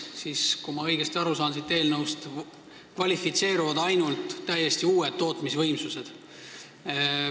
Kui ma eelnõust õigesti aru saan, siis selleks kvalifitseeruvad ainult täiesti uued tootmisvõimsused.